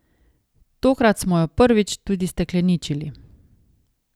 Tokrat smo jo prvič tudi stekleničili.